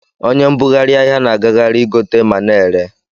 Onye mbughari ahia na agaghari igote mana ere.